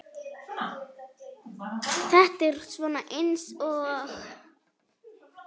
Þetta er svona eins og.